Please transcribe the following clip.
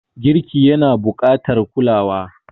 Girki yana buƙatar kulawa.